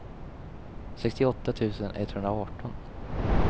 sextioåtta tusen etthundraarton